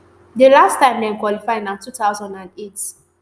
di last time dem qualify na two thousand and eight